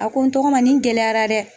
A ko n tɔgɔma nin gɛlɛyara dɛ !